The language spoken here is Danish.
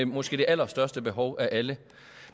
måske allerstørste behov af alle